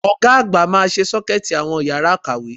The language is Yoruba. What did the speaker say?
Ọ̀ga àgbà máa ṣe Ṣọ́kẹ́ẹ̀tì àwọn yàrá ìkàwé